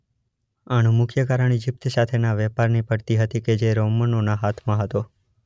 આનું મુખ્ય કારાણ ઈજીપ્ત સાથેના વેપારની પડતી હતી કે જે રોમનોના હાથમાં હતો.